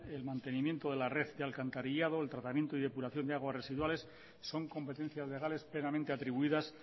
el mantenimiento de la red y alcantarillado el tratamiento y depuración de aguas residuales son competencias legales plenamente atribuidas